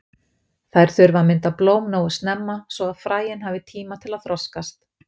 Þær þurfa að mynda blóm nógu snemma svo að fræin hafi tíma til að þroskast.